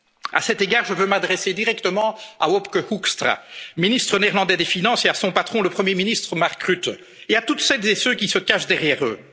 européenne. A cet égard, je veux m'adresser directement à Wopke Hoekstra, le ministre néerlandais des finances, et à son patron, le premier ministre Mark Rutte, et à toutes celles et ceux qui se cachent derrière